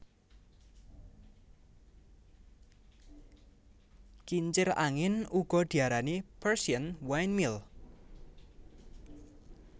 Kincir angin uga diarani Persian windmill